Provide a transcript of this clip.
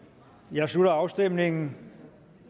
jeg slutter afstemningen